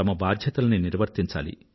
బాధ్యతలను నిర్వర్తించాలి